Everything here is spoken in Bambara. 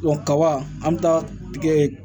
kaba an be taa tigɛ